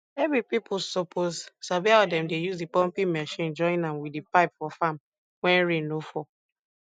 ebi pipo suppose sabi how dem dey use di pumping mechine join am wit di pipe for farm wen rain no fall